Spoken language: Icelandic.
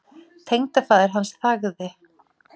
Tengdafaðir hans þagði.